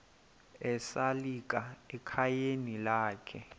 esalika ekhayeni lakhe